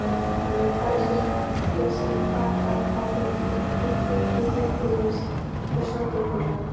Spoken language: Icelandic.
Hann lét talsvert til sín taka á þingi, einkum í heilbrigðis- og samgöngumálum.